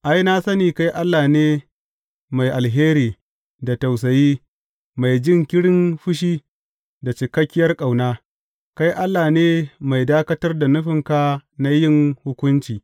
Ai, na sani kai Allah ne mai alheri da tausayi, mai jinkirin fushi da cikakkiyar ƙauna, kai Allah ne mai dakatar da nufinka na yin hukunci.